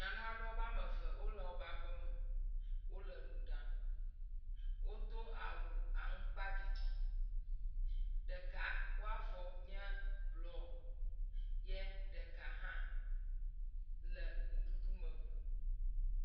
Nyanu aɖe wobe ame eve wole wobe aƒeme, wole nu ɖam, wodo awu aŋkpaɖiɖi, ɖeka wɔavɔ nye blɔ ye ɖeka hã le nuɖuɖu me blum.